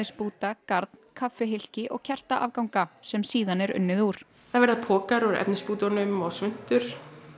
efnisbúta garn og kertaafganga sem síðan er unnið úr það verða pokar úr efnisbútunum og svuntur